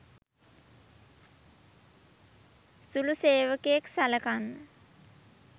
සුළු සේවකයෙක් සලකන්න